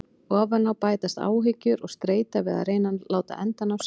Ofan á bætast áhyggjur og streita við að reyna að láta enda ná saman.